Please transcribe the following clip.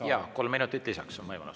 Jaa, on võimalus kolm minutit lisaks.